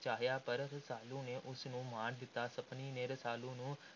ਚਾਹਿਆ ਪਰ ਰਸਾਲੂ ਨੇ ਉਸ ਨੂੰ ਮਾਰ ਦਿੱਤਾ। ਸੱਪਣੀ ਨੇ ਰਸਾਲੂ ਨੂੰ